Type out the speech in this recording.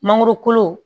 Mangoro kolo